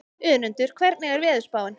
Önundur, hvernig er veðurspáin?